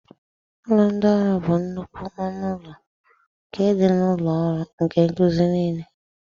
Ụlọ ndị ọrụ bụ nnukwu ọnụ ụlọ nke dị ka ụlọ ọrụ ndị nkuzi niile.